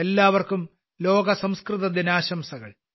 എല്ലാവർക്കും ലോക സംസ്കൃത ദിനാശംസകൾ